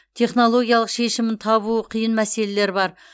технологиялық шешімін табуы қиын мәселелер бар